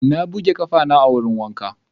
Na buge ƙafana a wurin wanka.